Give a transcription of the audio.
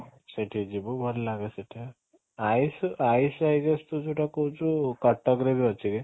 ସେଠି ଯିବୁ ଭଲ ଲାଗେ ସେଠି ଆୟୁଷ ଆୟୁଷ ତୁ ଯୋଉଟା କହୁଛୁ କଟକ ରେ ବି ଅଛି